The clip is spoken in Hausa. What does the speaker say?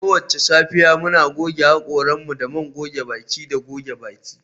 Kowace safiya, muna goge haƙoranmu da man goge baki da goge baki